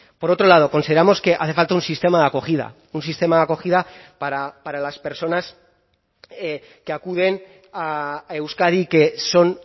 por otro lado consideramos que hace falta un sistema de acogida un sistema de acogida para las personas que acuden a euskadi que son